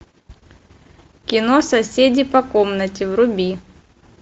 кино соседи по комнате вруби